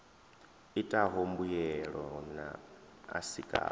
itaho mbuelo na a sikaho